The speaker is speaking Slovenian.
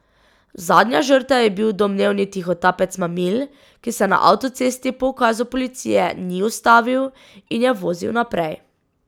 Zadnja žrtev je bil domnevni tihotapec mamil, ki se na avtocesti po ukazu policije ni ustavil in je vozil naprej.